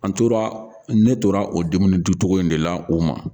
An tora ne tora o dumuni duncogo in de la o ma